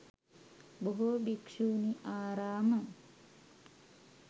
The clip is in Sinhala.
බොහෝ භික්ෂුණි ආරාම